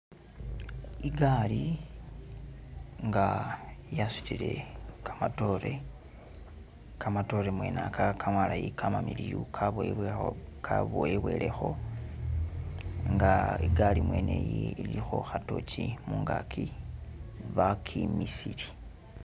Igaali nga yasutile kamatoore , kamatoore mwene aka kamalayi kamamiliyu kaboyebwelekho nga igaali mwene iyi ilikho kha torch mungaki bakimisile.